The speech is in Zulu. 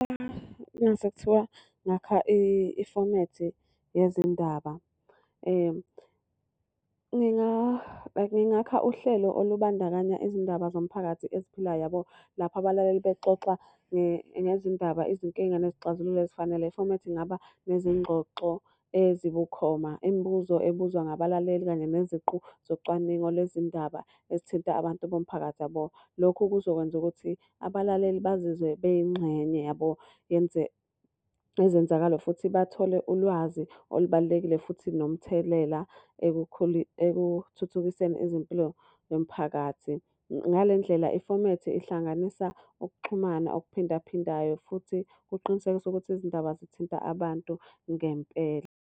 Uma ngase kuthiwa ngakha ifomethi yezindaba, like ngingakha uhlelo olubandakanya izindaba zomphakathi eziphilayo yabo. Lapha abalaleli bexoxa ngezindaba, izinkinga, nezixazululo ezifanele. Ifomethi ingaba nezingxoxo ezibukhoma, imibuzo ebuzwa ngabalaleli kanye neziqu zocwaningo lwezindaba ezithinta abantu bomphakathi yabo. Lokhu kuzokwenza ukuthi abalaleli bazizwe beyingxenye yabo yezenzakalayo futhi bathole ulwazi olubalulekile futhi nomthelela ekuthuthukiseni izimpilo yomphakathi. Ngale ndlela ifomethi ihlanganisa ukuxhumana okuphinda phindayo futhi kuqinisekisa ukuthi izindaba zithinta abantu ngempela.